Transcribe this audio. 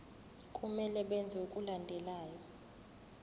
kumele benze okulandelayo